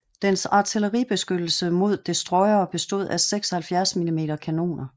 Dens artilleribeskyttelse mod destroyere bestod af 76 mm kanoner